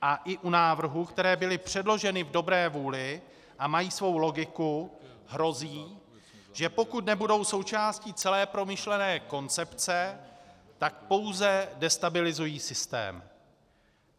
A i u návrhů, které byly předloženy v dobré vůli a mají svou logiku, hrozí, že pokud nebudou součástí celé promyšlené koncepce, tak pouze destabilizují systém.